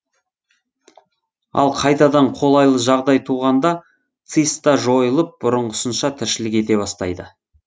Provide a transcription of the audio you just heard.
ал қайтадан қолайлы жағдай туғанда циста жойылып бұрынғысынша тіршілік ете бастайды